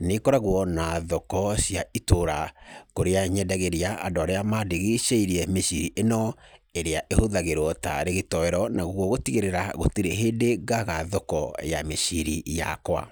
nĩ ĩkoragwo na thoko cia itũra, kũrĩa nyendagĩria andũ arĩa mandigicĩirie mĩciri ĩyo ĩrĩa ĩhũthagĩrwo taarĩ gĩtoero. Naguo gũtigĩrĩra gũtirĩ hĩndĩ ngaga thoko ya mĩciri yakwa.